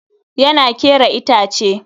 Yana kera itace.